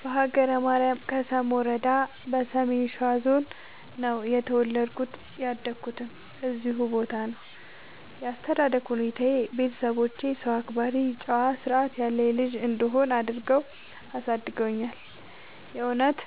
በሀገረ ማርያም ከሰም ወረዳ በሰሜን ሸዋ ዞን ነው የተወለድኩት ያደኩትም እዚሁ ቦታ ነው። ያስተዳደግ ሁኔታዬ ቤተሰቦቼ ሰው አክባሪ ጨዋ እና ስርዐት ያለኝ ልጅ እንድሆን አድርገው አሳድገውኛል። የእውነት